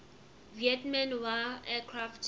vietnam war aircraft